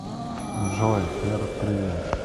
джой р привет